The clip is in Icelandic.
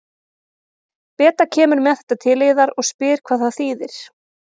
Beta kemur með þetta til yðar og spyr hvað það þýðir.